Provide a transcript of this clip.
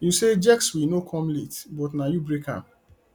you say sjexwe no come late but na you break am